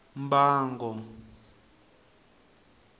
mbango